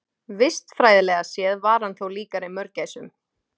Vistfræðilega séð var hann þó líkari mörgæsum.